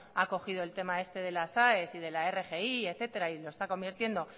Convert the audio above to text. ha cogido el tema este de las aes y de la rgi etcétera y lo está convirtiendo